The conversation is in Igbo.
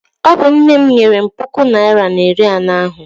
Ọ bụ nne m nyere m puku naịra na iri anọ ahụ.